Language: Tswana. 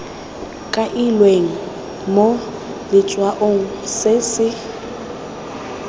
kailweng mo letshwaong se se